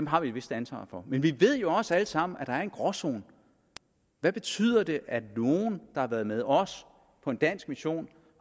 har vi et vist ansvar for men vi ved jo også alle sammen at der er en gråzone hvad betyder det at nogle der har været med os på en dansk mission